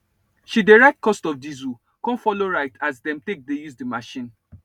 she dey write cost of diesel con follow write as dem take dey use di machine